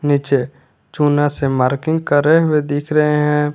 नीचे चुना से मार्किंग करे हुए दिख रहे हैं।